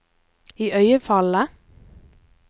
iøynefallende